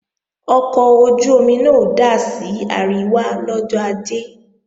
Ọkọ̀ ojú-omi náà ó dà sí àríwá lọ́jọ́ Ajé